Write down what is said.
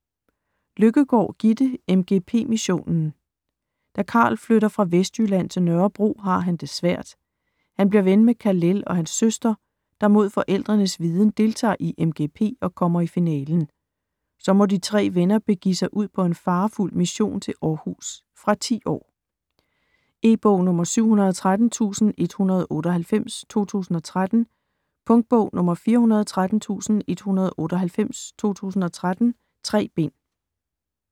Løkkegaard, Gitte: MGP missionen Da Karl flytter fra Vestjylland til Nørrebro, har han det svært. Han bliver ven med Khalel og hans søster, der mod forældrens viden deltager i MGP, og kommer i finalen. Så må de 3 venner begive sig ud på en farefuld mission til Århus. fra 10 år. E-bog 713198 2013. Punktbog 413198 2013. 3 bind.